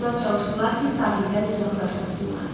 Onlar çalışdılar ki, sahildən uzaqlaşmasınlar.